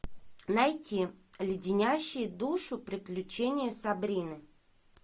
найти леденящие душу приключения сабрины